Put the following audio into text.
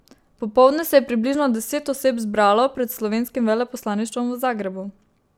Popoldne se je približno deset oseb zbralo pred slovenskim veleposlaništvom v Zagrebu.